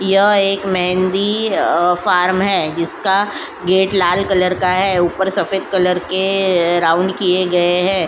यह एक मेहंदी अ फॉर्म है जिसका गेट लाल कलर का है। ऊपर सफेद कलर के अ राउन्ड किए गए हैं।